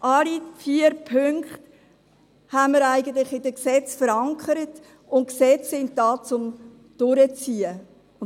Alle vier Punkte sind eigentlich in den Gesetzen verankert, und Gesetze sind da, um durchgesetzt zu werden.